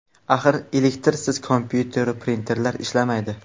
Axir elektrsiz kompyuteru printerlar ishlamaydi.